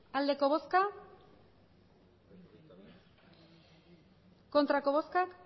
emandako botoak